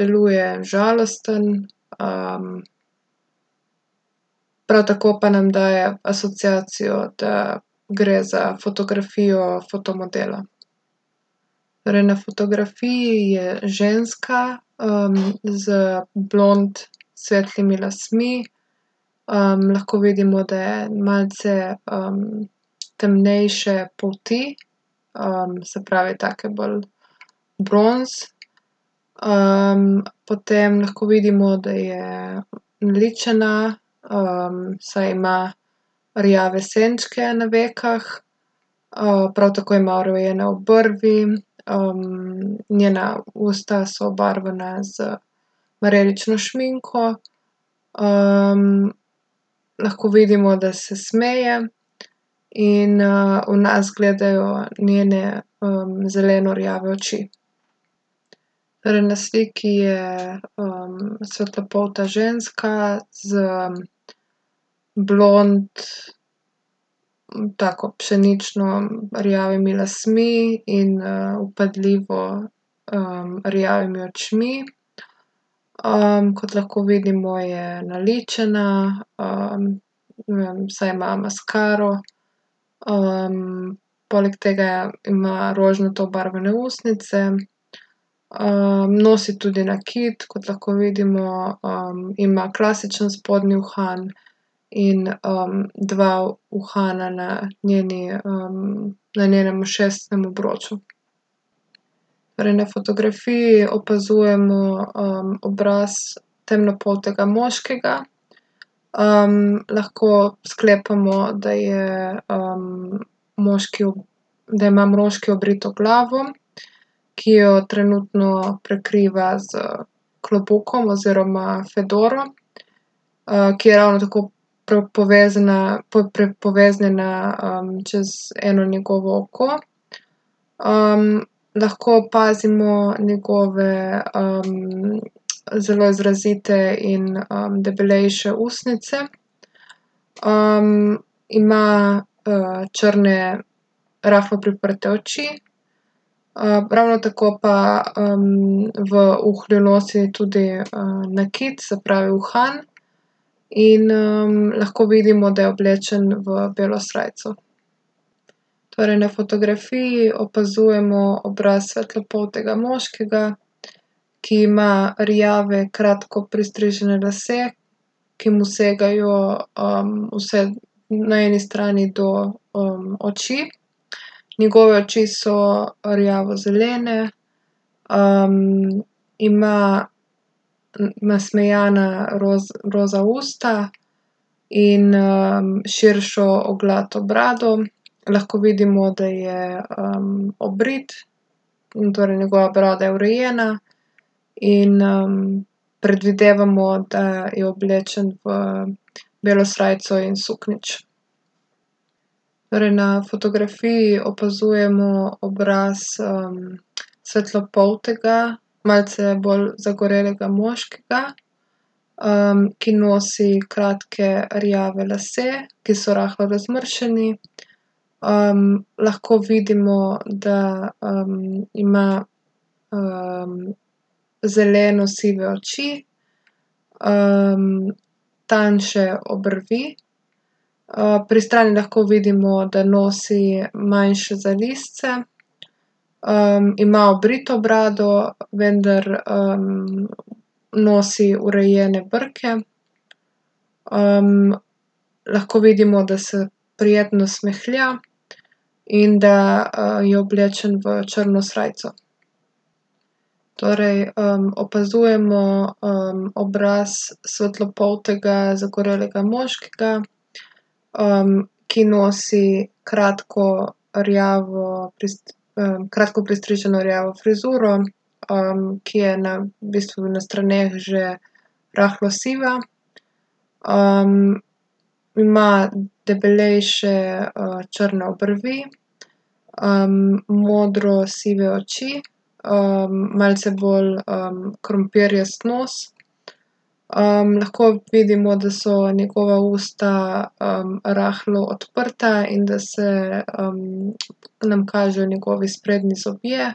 deluje žalosten, prav tako pa nam daje asociacijo, da gre za fotografijo fotomodela. Torej na fotografiji je ženska, z blond svetlimi lasmi. lahko vidimo, da je malce, temnejše polti. se pravi, take bolj bronze. potem lahko vidimo, da je naličena, saj ima rjave senčke na vekah. prav tako ima urejene obrvi, njena usta so obarvana z marelično šminko, lahko vidimo, da se smeje, in, v nas gledajo njene, zeleno-rjave oči. Torej na sliki je, svetlopolta ženska z blond, tako pšenično rjavimi lasmi in, vpadljivo, rjavimi očmi. kot lahko vidimo, je naličena, ne vem, saj ima maskaro. poleg tega ima rožnato obarvane ustnice. nosi tudi nakit, kot lahko vidimo, ima klasičen spodnji uhan in, dva uhana na njeni, na njenem ušesnem obroču. Torej na fotografiji opazujemo, obraz temnopoltega moškega, lahko sklepamo, da je, moški da ima moški obrito glavo, ki jo trenutno prekriva s klobukom oziroma fedoro, ki je ravno tako povezana poveznjena, čez eno njegovo oko. lahko opazimo njegove, zelo izrazite in, debelejše ustnice, ima, črne, rahlo priprte oči, ravno tako pa, v uhlju nosi tudi, nakit, se pravi uhan. In, lahko vidimo, da je oblečen v belo srajco. Torej na fotografiji opazujemo obraz svetlopoltega moškega, ki ima rjave, kratko pristrižene lase, ki mu segajo, vse na eni strani do, oči. Njegove oči so rjavozelene, ima nasmejana roza usta in, širšo oglato brado. Lahko vidimo, da je, obrit in torej njegova brada je urejena. In, predvidevamo, da je oblečen v belo srajco in suknjič. Torej na fotografiji opazujemo obraz, svetlopoltega, malce bolj zagorelega moškega, ki nosi kratke rjave lase, ki so rahlo razmršeni. lahko vidimo, da, ima, zelenosive oči, tanjše obrvi, pri strani lahko vidimo, da nosi manjše zalizce. ima obrito brado, vendar, nosi urejene brke. lahko vidimo, da se prijetno smehlja in da, je oblečen v črno srajco. Torej, opazujemo, obraz svetlopoltega zagorelega moškega, ki nosi kratko rjavo kratko pristriženo rjavo frizuro, ki je na, v bistvu na straneh že rahlo siva. ima debelejše, črne obrvi, modrosive oči, malce bolj, krompirjast nos. lahko vidimo, da so njegova usta, rahlo odprta in da se, nam kažejo njegovi sprednji zobje.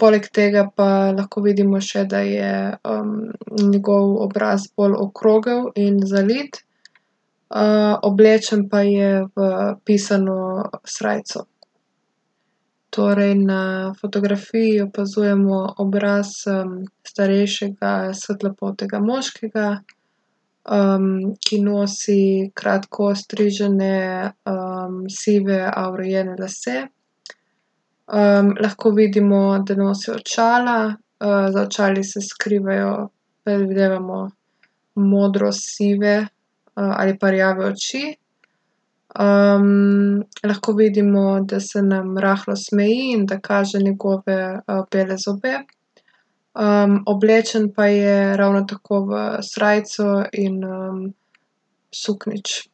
poleg tega pa lahko vidimo še, da je, njegov obraz bolj okrogel in zalit. oblečen pa je v pisano srajco. Torej na fotografiji opazujemo obraz, starejšega svetlopoltega moškega, ki nosi kratko ostrižene, sive, a urejene lase. lahko vidimo, da nosi očala, za očali se skrivajo, predvidevamo, modrosive, ali pa rjave oči. lahko vidimo, da se nam rahlo smeji in da kaže njegove, bele zobe. oblečen pa je ravno tako v srajco in, suknjič.